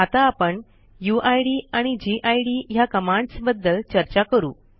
आता आपण यूआयडी आणि गिड ह्या कमांडस बद्दल चर्चा करू